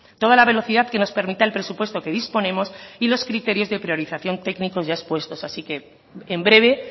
toda la velocidad que nos permita el presupuesto que disponemos y los criterios de priorización técnico ya expuestos así que en breve